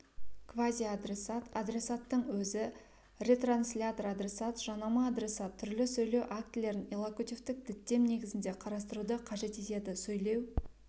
квазиадресат адресаттың өзі ретранслятор-адресат жанама адресат түрлі сөйлеу актілерін иллокутивтік діттем негізінде қарастыруды қажет етеді сөйлеу